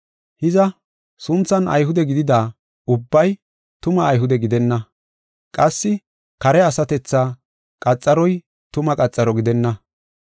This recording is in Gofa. Hiza, sunthan Ayhude gidida ubbay tuma Ayhude gidenna. Qassi kare asatethaa qaxaroy tuma qaxaro gidenna.